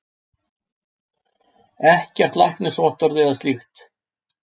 Ekkert læknisvottorð eða slíkt.